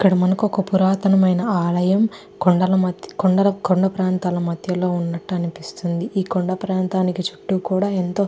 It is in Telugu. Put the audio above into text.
ఇక్కడ మనకి ఒక పురాతన మైన ఆలయం కొండల మద్యన కొండ ప్రాంతం లా మద్యన ఉండడం అనిపిస్తుంది ఈ కొండ ప్రాంతానికి చుట్టూ ఎంతో --